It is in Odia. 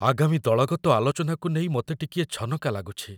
ଆଗାମୀ ଦଳଗତ ଆଲୋଚନାକୁ ନେଇ ମୋତେ ଟିକିଏ ଛନକା ଲାଗୁଛି।